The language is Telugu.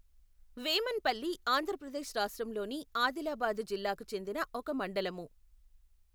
వేమన్పల్లి ఆంధ్ర ప్రదేశ్ రాష్ట్రంలోని అదిలాబాదు జిల్లాకు చెందిన ఒక మండలము.